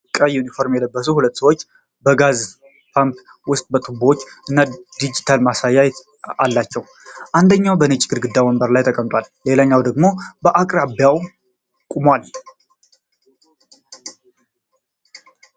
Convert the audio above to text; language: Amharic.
ቀይ ዩኒፎርም የለበሱ ሁለት ሰዎች በጋዝ ፓምፕ ውስጥ ቱቦዎች እና ዲጂታል ማሳያ አላቸው። አንደኛው በነጭ አግዳሚ ወንበር ላይ ተቀምጧል, ሌላኛው ደግሞ በአቅራቢያው ቆሟል።